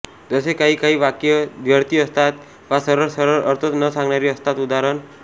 जसे काही काही वाक्ये द्व्यर्थी असतात वा सरळ सरळ अर्थ न सांगणारी असतात उदा